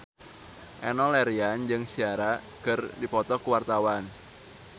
Enno Lerian jeung Ciara keur dipoto ku wartawan